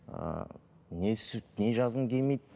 ыыы не не жазғың келмейді